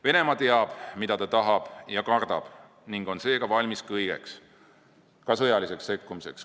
Venemaa teab, mida ta tahab ja kardab, ning on seega valmis kõigeks, ka sõjaliseks sekkumiseks.